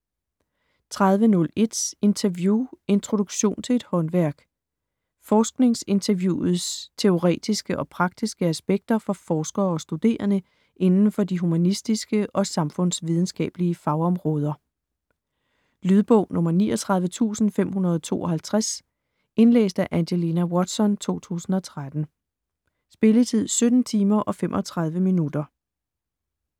30.01 Interview: introduktion til et håndværk Forskningsinterviewets teoretiske og praktiske aspekter for forskere og studerende inden for de humanistiske og samfundsvidenskabelige fagområder. Lydbog 39552 Indlæst af Angelina Watson, 2013. Spilletid: 17 timer, 35 minutter.